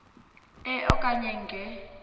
e okanye nge